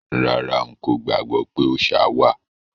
Rárá,n kò gbàgbọ́ pé òòṣa wà.